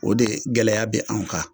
O de gɛlɛya bɛ anw kan